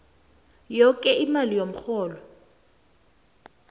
yoke imali yomrholo